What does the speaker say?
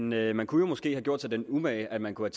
med man kunne måske have gjort sig den umage at man kunne